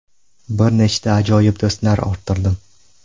Bir nechta ajoyib do‘stlar orttirdim!